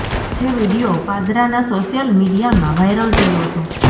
જે વિડીયો પાદરાના સોશિયલ મિડિયામાં વાયરલ થયો હતો